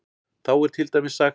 Þá er til dæmis sagt